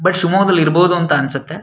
But ಶಿವಮೊಗ್ಗದಲ್ಲಿ ಇರಬಹುದು ಅಂತ ಅನ್ಸುತ್ತೆ.